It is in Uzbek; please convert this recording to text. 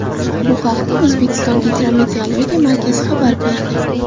Bu haqda O‘zbekiston gidrometeorologiya markazi xabar berdi.